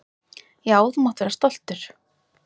Já, þú mátt vera stoltur.